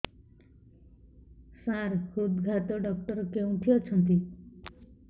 ସାର ହୃଦଘାତ ଡକ୍ଟର କେଉଁଠି ଅଛନ୍ତି